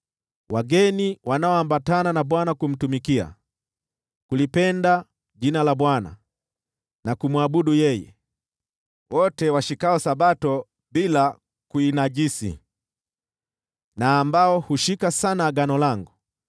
Wageni wanaoambatana na Bwana ili kumtumikia, kulipenda jina la Bwana , na kumwabudu yeye, wote washikao Sabato bila kuinajisi na ambao hushika sana agano langu: